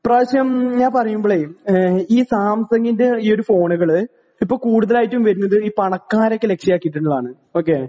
ഇപ്രാവശ്യം ഞാൻ പറയുമ്പളേ ഈ സാംസങിന്റെ ഈ ഒരു ഫോണുകൾ ഇപ്പോൾ കൂടുതൽ ആയിട്ടും വരുന്നത് ഈ പണക്കാരെ ലഭ്യമാക്കിയിട്ടുള്ളതാണ്. ഓക്കേ